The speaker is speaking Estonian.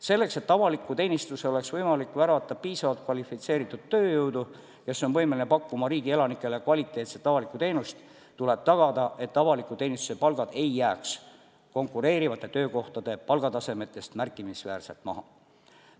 Selleks, et avalikku teenistusse oleks võimalik värvata piisavalt kvalifitseeritud tööjõudu, kes on võimeline pakkuma riigi elanikele kvaliteetset avalikku teenust, tuleb tagada, et avaliku teenistuse palgad ei jääks konkureerivate töökohtade palgatasemest märkimisväärselt maha.